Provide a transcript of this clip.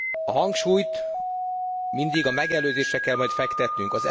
A hangsúlyt mindig a megelőzésre kell majd fektetnünk.